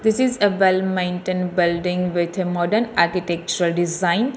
This is a well maintained building with a modern artitecture design.